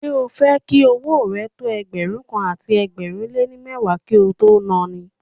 Ṣé o fẹ́ jẹ́ kí owó rẹ tó Ẹgbẹ̀rún kan àti ẹgbẹ̀rin lé ní mẹ́wàá kí o tó na ni?